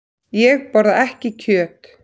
Ég borða ekki kjöt.